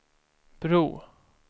bro